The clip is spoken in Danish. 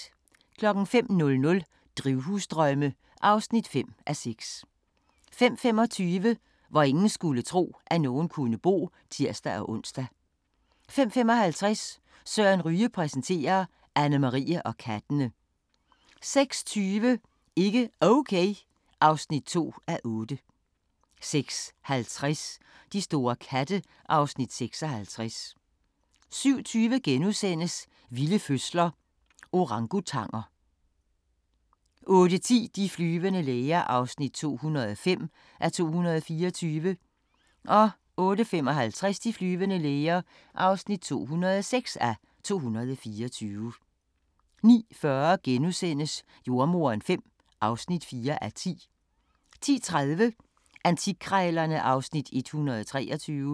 05:00: Drivhusdrømme (5:6) 05:25: Hvor ingen skulle tro, at nogen kunne bo (tir-ons) 05:55: Søren Ryge præsenterer: Annemarie og kattene 06:20: Ikke Okay (2:8) 06:50: De store katte (Afs. 56) 07:20: Vilde fødsler – Orangutanger * 08:10: De flyvende læger (205:224) 08:55: De flyvende læger (206:224) 09:40: Jordemoderen V (4:10)* 10:30: Antikkrejlerne (Afs. 123)